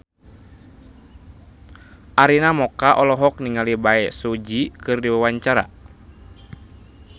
Arina Mocca olohok ningali Bae Su Ji keur diwawancara